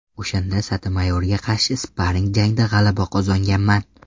O‘shanda Sotomayorga qarshi sparring jangda g‘alaba qozonganman.